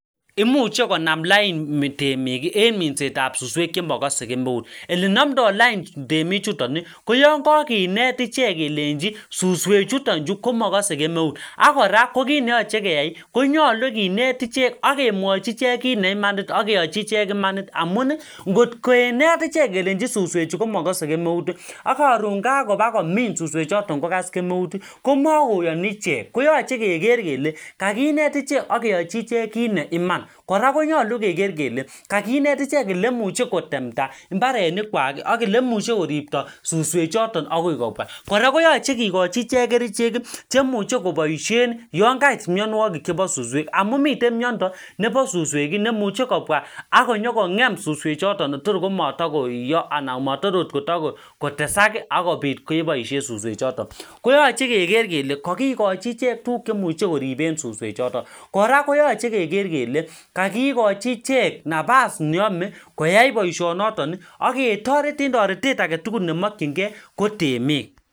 imuche konam lain temiki en minsetab suswek chemogose kemeut elnamdab lain temichutoni koyokokinet ichek kelenchi suswek chuton chu komokose kemeut ak kora kokit neyoche keyai konyolu kinet ichek ak kemwochi ichek kit neimanit ak keyochi ichek imanit amuni ngotkokinet ichek kelenchi suswechu komokose kemeuti akoron kakoba komin suswechu komokase kemeuti ak koron kakopa komin suswech choton ak kokose kemeuti komokoyoni ichek koyoche keker kele kakinet ichek ak keyochi ichek kit neiman kora konyolu keker kele kakinet ichek eleimuche kotemnda mbarenikwak ak eleimuche koripto suswechoton akoi kopwa kora koyoche kikochi ichek kericheki cheimuche koboishen yonkait mionwokik chebo susweki amun miten miondo nebo suswekii neimuche kobwa akonyokongemsuswe choton kotor komotokoiyo anan motoroot kotesaki akopit keboishen suswe choton koyoche keker kele kokikochi ichek tuguk cheimuche koriben suswe choton kora koyoche keker kele kokikochi ichek napas neome koyai boishono ak ketoret en toretet nemokyinkee kotemik